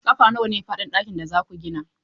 Ƙafa nawa ne faɗin ɗakin da za ku gina?